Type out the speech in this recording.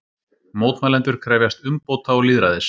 Mótmælendur krefjast umbóta og lýðræðis